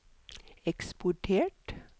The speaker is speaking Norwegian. eksportert